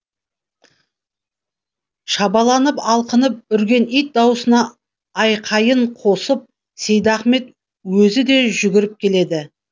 шабаланып алқынып үрген ит даусына айқайын қосып сейдахмет өзі де жүгіріп келеді